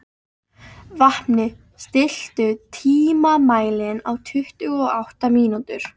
Vápni, stilltu tímamælinn á tuttugu og átta mínútur.